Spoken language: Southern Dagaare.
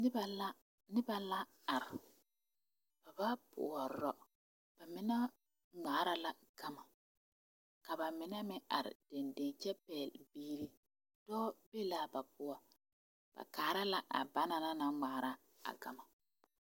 Noba la are, ba ba pɔrɔ ba mine ŋmaara la gama ka ba mine meŋ are dendeŋ kyɛ pɛgle bie dɔɔ be la ba poɔ, ba kaara la a banaŋ na ŋmaara a gama